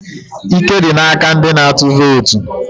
Ike dị n'aka ndị na-atụ vootu.